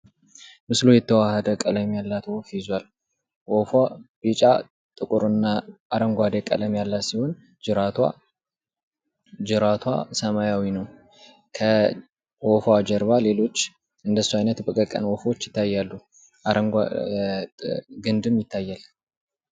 ምስሉ የተዋሃደ ቀለም ያላትን ወፍ ይዟል። ወፍ ቢጫ፣ ጥቁርና አረንጓዴ ቀለም ያላት ሲሆን ጅራቷ ሰማያዊ ነው። ከወፏ ጀርባ እንደሷ አይነት በቀቀን ወፎች ይታያሉ። ግንድም ይታያል።